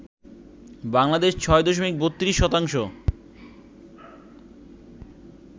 বাংলাদেশ ৬ দশমিক ৩২ শতাংশ